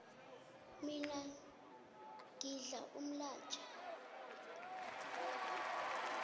mina ngidla umlaja